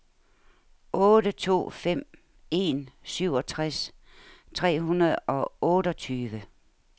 otte to fem en syvogtres tre hundrede og otteogtyve